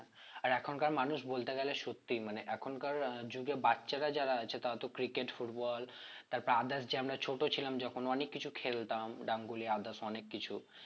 আর এখনকার মানুষ বলতে গেলে সত্যিই মানে এখনকার আহ যুগে বাচ্চারা যারা আছে তারা তো cricket football তারপর others যে আমরা ছোট ছিলাম যখন অনেক কিছু খেলতাম others অনেক কিছু